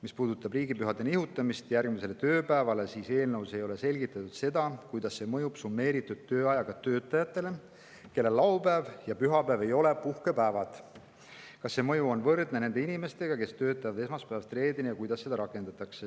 Mis puudutab riigipühade nihutamist järgmisele tööpäevale, siis eelnõus ei ole selgitatud, kuidas see mõjub summeeritud tööajaga töötajatele, kellel laupäev ja pühapäev ei ole puhkepäevad, kas see mõju on võrdse nendele inimestele, kes töötavad esmaspäevast reedeni, ja kuidas seda rakendatakse.